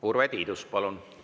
Urve Tiidus, palun!